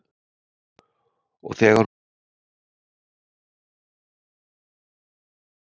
Og þegar hún loksins fór var Heiða komin inn með strákana.